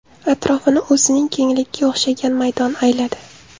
Atrofini o‘zining kengligiga o‘xshagan maydon ayladi.